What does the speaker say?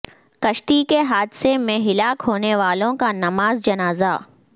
کشتی کے حادثے میں ہلاک ہونے والوں کا نماز جنازہ